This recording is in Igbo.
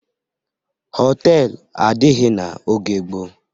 Họtelụ adịghị n'oge gboo.